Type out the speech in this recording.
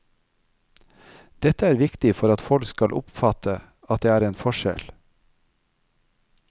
Dette er viktig for at folk skal oppfatte at det er en forskjell.